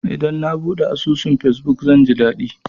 Idan na buɗe asusun fesbuk, zan ji daɗi.